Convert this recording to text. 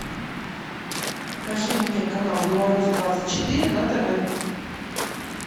покажи мне канал беларусь двадцать четыре на тв